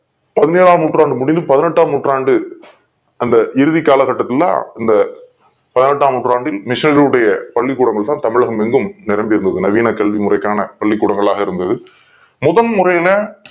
பதிநேளாம் ஆம் நூற்றாண்டு முடிந்து பதினெட்டாம் நூற்றாண்டு அந்த இறுதி கால கட்டத்தில் தான் இந்த பதினெட்டாம் ஆம் நூற்றாண்டில் மிஷினரிகள் உடைய தமிழக மெங்கும் நிரம்பி இருக்கு நவீன கல்வி முறை காண பள்ளிக் கூடங்களாக இருந்தது முதல் முறையில